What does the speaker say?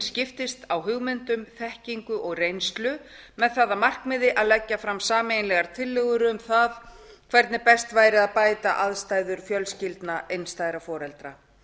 skiptist á hugmyndum þekkingu og reynslu með það að markmiði að leggja fram sameiginlegar tillögur um það hvernig best væri að bæta aðstæður fjölskyldna einstæðra foreldra